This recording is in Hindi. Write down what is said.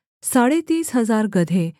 साढ़े तीस हजार गदहे